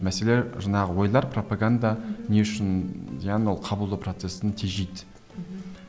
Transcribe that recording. мәселе жаңағы ойлар пропаганда не үшін яғни ол қабылдау процесін тежейді мхм